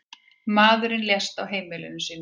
Maðurinn lést á heimili sínu.